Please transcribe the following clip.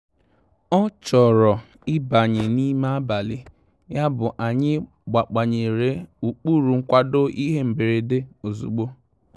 Ọ́ chọ̀rọ̀ ị́bànyé n'ime àbàlị̀, yàbụ̀ anyị́ gbànyèrè ụ́kpụ́rụ́ nkwàdò ìhè mberede ozùgbo.